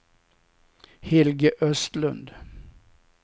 Helge Östlund